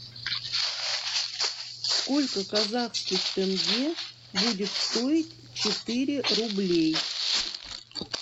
сколько казахских тенге будет стоить четыре рубля